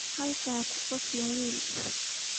Halkaa ha ku qoslin wiil.